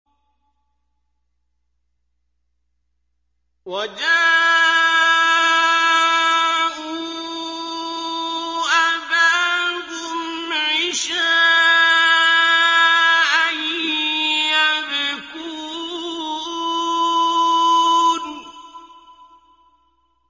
وَجَاءُوا أَبَاهُمْ عِشَاءً يَبْكُونَ